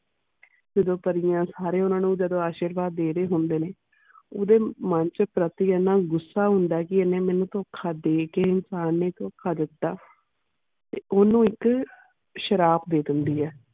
ਜਾਦੂ ਪੜ੍ਹਿਆ ਸਾਰੇ ਓਨਾ ਨੂੰ ਜਾਦੂ ਅਸ਼ੀਰਵਤ ਦੇ ਰੇ ਹੋਂਦੇ ਨੇ ਓਦੇ ਮਨ ਛ ਪ੍ਰਤੀ ਐਨਾ ਗੁਸਾ ਹੋਂਦ ਕੇ ਐਨਾ ਮੈਨੂੰ ਤੋਖ ਦੇ ਕੇ ਇਨਸਾਨ ਨੇ ਤੋਖ ਦਿਤਾ ਓਨੁ ਇਕ ਸ਼ਰਾਪ ਦੇ ਦੇਂਦੀ ਇਹ.